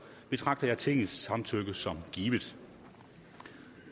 betragter jeg tingets samtykke som givet